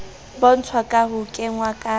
bontshwa ka ho kengwa ka